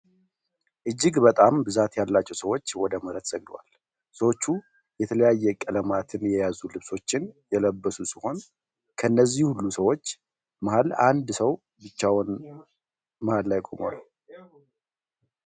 እጅግ በጣም ብዛት ያላቸው ሰዎች ወደ መሬት ሰግደዋል። ሰዎቹ የተለያየ ቀለማትን የያዙ ልብሶችን የለበሱ ሲሆን ከነዚህ ሁሉ ሰዎች መሃል አንድ ሰው ብቻውን መሃል ላይ ቆሟል።